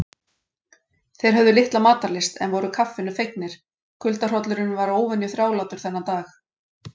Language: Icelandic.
Þeir höfðu litla matarlyst en voru kaffinu fegnir, kuldahrollurinn var óvenju þrálátur þennan dag.